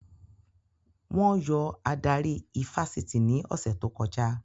Wọ́n yọ adarí ifásitì ní ọ̀sẹ̀ tó kọjá